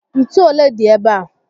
Ntú olé dị ébé a?